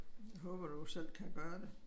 Jeg håber du selv kan gøre det